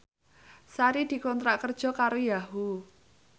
Sari dikontrak kerja karo Yahoo!